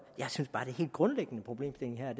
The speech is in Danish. jeg synes bare den helt grundlæggende problemstilling her er